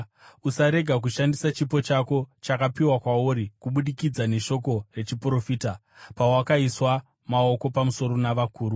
Usarega kushandisa chipo chako, chakapiwa kwauri kubudikidza neshoko rechiprofita pawakaiswa maoko pamusoro navakuru.